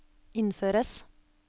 innføres